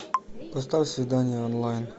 поставь свидание онлайн